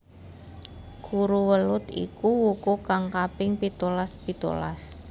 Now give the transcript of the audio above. Kuruwelut iku wuku kang kaping pitulas pitulas